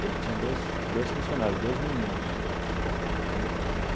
Ele tinha dois dois funcionários, dois meninos né.